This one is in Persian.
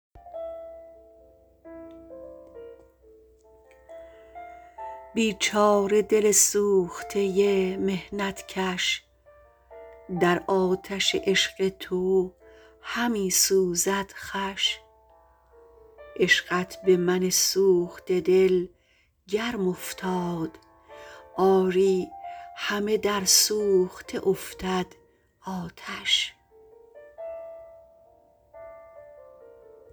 بیچاره دل سوخته محنت کش در آتش عشق تو همی سوزد خوش عشقت به من سوخته دل گرم افتاد آری همه در سوخته افتد آتش